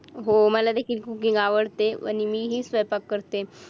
हो मला देखील cooking आवडते आणि मी ही स्वयंपाक करते.